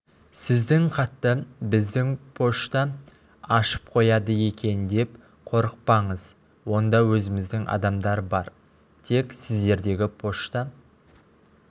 сіздің хатты біздің пошта ашып қояды екен деп қорықпаңыз онда өзіміздің адамдар бар тек сіздердегі пошта